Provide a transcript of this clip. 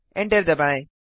enter दबाएँ